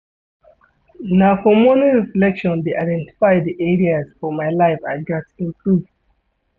Na for morning reflection dey identify di areas for my life I gats improve.